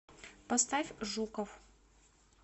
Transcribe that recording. поставь жуков